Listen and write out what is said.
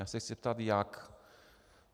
Já se chci zeptat jak.